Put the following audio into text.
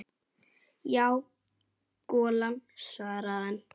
Já, golan svaraði hann.